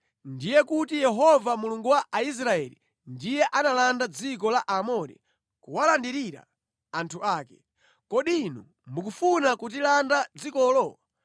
“Ndiye kuti Yehova Mulungu wa Aisraeli ndiye analanda dziko la Aamori, kuwalandirira anthu ake. Kodi inu mukufuna kutilanda dzikolo?